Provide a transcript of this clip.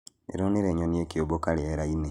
Ndĩronire nyoni ikĩũmbũka rĩera-inĩ